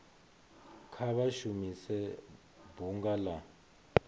kha vha shumise bunga la